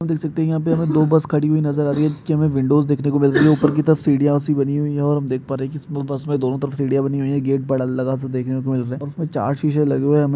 City है यहाँ पर दो बस खड़ी हुई नज़र आ रही है| सीढ़ियां सी लगी हुई है और देख पा रहे है| उसमे बस मे चार शीशे लगे हुए है।